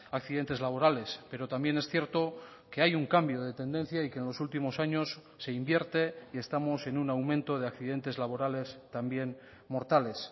accidentes laborales pero también es cierto que hay un cambio de tendencia y que en los últimos años se invierte y estamos en un aumento de accidentes laborales también mortales